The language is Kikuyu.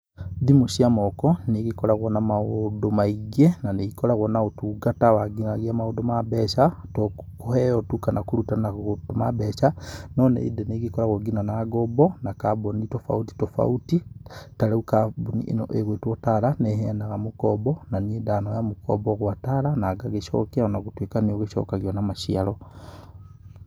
Thimũ cia moko nĩ igĩkoragwo na maũndũ maingĩ. Na nĩ ikoragwo na ũtungata wa nginyagĩa maũndũ ma mbeca, tũ kũheyo tu kana kũruta na gũtũma mbeca no nĩ ĩndĩ nĩ ĩgĩkoragwo ngina na ng'ombo na kambuni tofauti, tofauti, ta rĩu kambuni ĩno ĩgwĩtwo Tala nĩ ĩheyanaga mũkombo na niĩ ndanoya mũkombo gwa Tala na ngagicokia ona gũtuika nĩ ũgĩcokagio na maciaro.